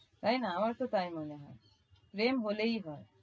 তাই না? আমারও তো তাই মনে হয়। প্রেম হলেই হয়।